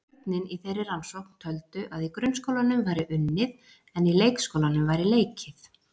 Börnin í þeirri rannsókn töldu að í grunnskólanum væri unnið en í leikskólanum væri leikið.